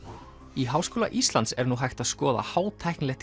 í Háskóla Íslands er nú hægt að skoða